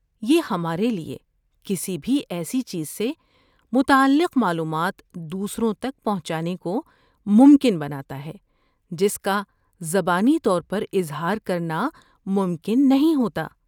یہ ہمارے لیے کسی بھی ایسی چیز سے متعلق معلومات دوسروں تک پہنچانے کو ممکن بناتا ہے جس کا زبانی طور پر اظہار کرنا ممکن نہیں ہوتا۔